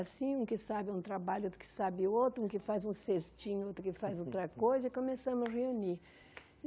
Assim, um que sabe um trabalho, outro que sabe outro, um que faz um cestinho, outro que faz outra coisa, e começamos a nos reunir.